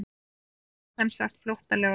Jú segir hann semsagt flóttalegur.